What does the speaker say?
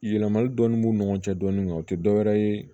Yɛlɛmali dɔɔni b'u ni ɲɔgɔn cɛ dɔɔnin o tɛ dɔwɛrɛ ye